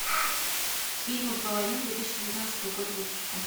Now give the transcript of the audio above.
фильмы про войну две тысячи девятнадцатого года выпуска